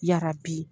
Yarabi